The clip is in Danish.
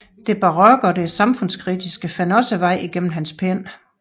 Det barokke og det samfundskritiske fandt også vej gennem hans pen